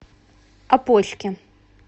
опочке